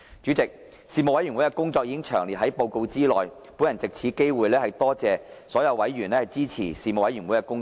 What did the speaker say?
主席，事務委員會的工作已詳列於報告內，本人藉此機會多謝所有委員支持事務委員會的工作。